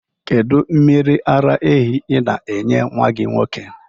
Kedụ mmiri ala ehi ị na-enye nwa gị nwoke?